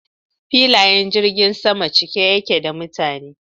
Filayen jirgin sama cike yake da mutane.